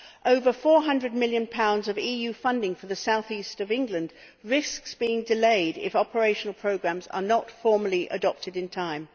Over GBP 400 million in EU funding for the south east of England risks being delayed if operational programmes are not formally adopted in time.